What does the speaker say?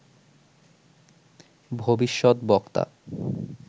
ভবিষ্যত বক্তা